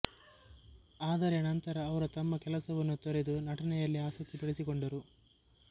ಆದರೆ ನಂತರ ಅವರು ತಮ್ಮ ಕೆಲಸವನ್ನು ತೊರೆದು ನಟನೆಯಲ್ಲಿ ಆಸಕ್ತಿ ಬೆಳೆಸಿಕೊಂಡರು